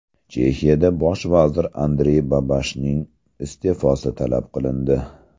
Chexiyada bosh vazir Andrey Babishning iste’fosi talab qilindi.